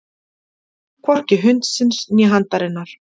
Hvorki hundsins né handarinnar.